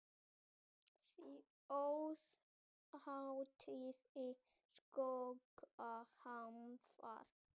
Svo er hægt að skutla úlpum yfir þær heldur Raggi áfram.